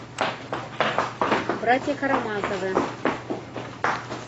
братья карамазовы